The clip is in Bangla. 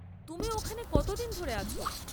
তুমি ওখানে কতদিন ধরে আছ?